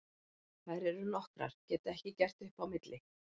Þær eru nokkrar, get ekki gert upp á milli.